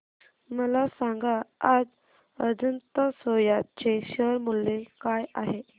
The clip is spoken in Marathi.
मला सांगा आज अजंता सोया चे शेअर मूल्य काय आहे